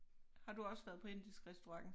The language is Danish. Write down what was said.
Har du også været på indisk restaurant?